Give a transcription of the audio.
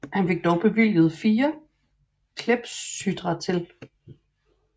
Han fik dog bevilget fire clepsydrae til